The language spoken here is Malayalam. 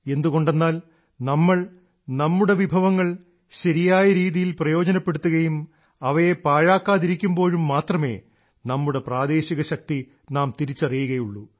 എന്തുകൊണ്ടെന്നാൽ നാം നമ്മുടെ വിഭവങ്ങൾ ശരിയായ രീതിയിൽ പ്രയോജനപ്പെടുത്തുകയും അവയെ പാഴാക്കാതിരിക്കുമ്പോഴും മാത്രമെ നമ്മുടെ പ്രാദേശിക ശക്തി നാം തിരിച്ചറിയുകയുള്ളൂ